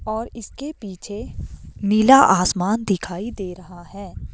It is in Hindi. और इसके पीछे नीला आसमान दिखाई दे रहा है।